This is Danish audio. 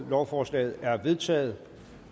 lovforslaget er vedtaget